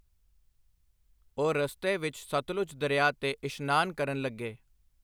ਉਹ ਰਸਤੇ ਵਿੱਚ ਸਤਲੁਜ ਦਰਿਆ 'ਤੇ ਇਸ਼ਨਾਨ ਕਰਨ ਲੱਗੇ।